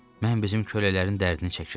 Mən bizim kölələrin dərdini çəkirəm.